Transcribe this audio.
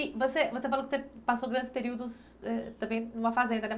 E você, você falou que você passou grandes períodos, eh, também numa fazenda.